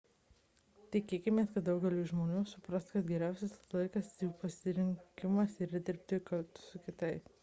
tikėkimės kad daugelis žmonių supras kad geriausias ilgalaikis jų pasirinkimas yra dirbti kartu su kitais